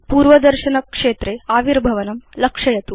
पूर्वदर्शनक्षेत्रे आविर्भवनं लक्षयतु